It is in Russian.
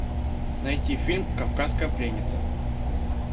найти фильм кавказская пленница